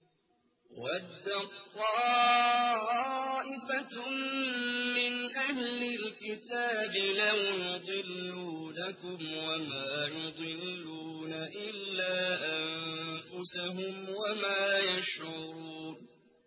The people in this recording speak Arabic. وَدَّت طَّائِفَةٌ مِّنْ أَهْلِ الْكِتَابِ لَوْ يُضِلُّونَكُمْ وَمَا يُضِلُّونَ إِلَّا أَنفُسَهُمْ وَمَا يَشْعُرُونَ